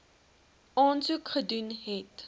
aansoek gedoen het